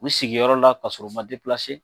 U sigiyɔrɔ la ka sɔrɔ u ma